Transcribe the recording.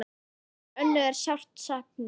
Ykkar Önnu er sárt saknað.